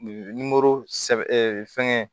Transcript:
sɛbɛ fɛngɛ